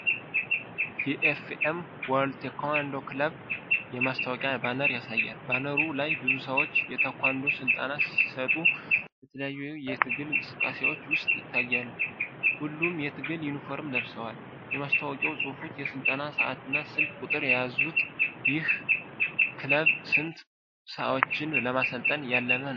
የ"ኤፍ.ኤስ. ወርልድ ታይክዋን-ዶ ክለብ" የማስታወቂያ ባነር ያሳያል። ባነሩ ላይ ብዙ ሰዎች የታይክዋንዶን ስልጠና ሲሰጡ በተለያዩ የትግል እንቅስቃሴዎች ውስጥ ይታያሉ፤ ሁሉም የትግል ዩኒፎርም ለብሰዋል። የማስታወቂያው ጽሑፎች የስልጠና ሰዓትና ስልክ ቁጥር የያዙት ይህ ክለብ ስንት ሰዎችን ለማሠልጠን ያለመ ነው?